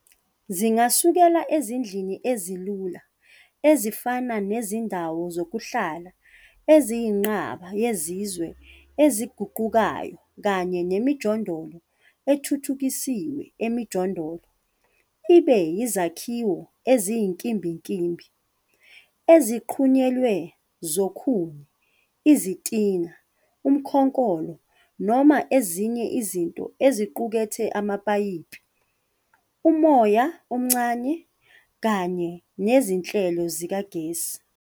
Zingasukela ezindlini ezilula ezifana nezindawo zokuhlala eziyinqaba yezizwe eziguqukayo kanye nemijondolo ethuthukisiwe emijondolo ibe yizakhiwo eziyinkimbinkimbi, ezinqunyelwe zokhuni, izitini, ukhonkolo noma ezinye izinto eziqukethe amapayipi, umoya omncane, kanye nezinhlelo zikagesi.